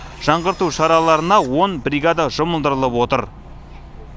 жаңғырту шараларына он бригада жұмылдырылып отыр